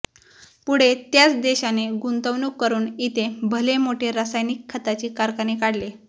पुढे त्याच देशाने गुंतवणूक करून इथे भले मोठे रासायनिक खताचे कारखाने काढले